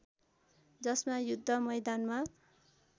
जसमा युद्ध मैदानमा